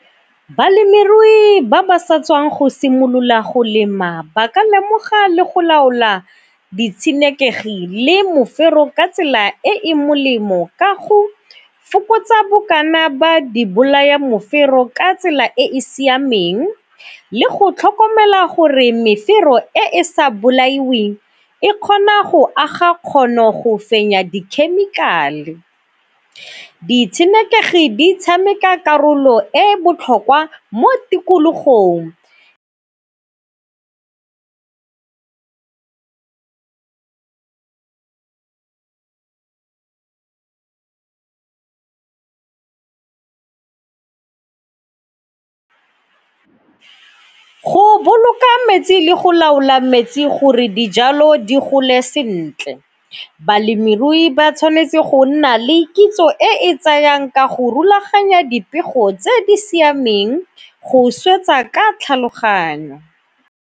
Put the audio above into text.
Balemirui ba ba sa tswang go simolola go lema ba ka lemoga le go laola ditshenekegi le mofero ka tsela e e molemo ka go fokotsa bokana ba di bolaya mofero ka tsela e e siameng le go tlhokomela gore mefero e sa bolaiweng e kgona go aga kgono go fenya dikhemikale. Ditshenekegi di tshameka karolo e botlhokwa mo tikologong. Go boloka metsi le go laola metsi gore dijalo di gole sentle, balemirui ba tshwanetse go nna le kitso e e tsayang ka go rulaganya dipego tse di siameng go swetsa ka tlhaloganyo.